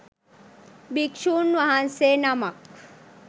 භික්‍ෂුන් වහන්සේ නමක්